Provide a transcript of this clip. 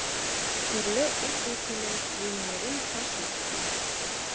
түрлі ұлт өкілі өнерін паш етуде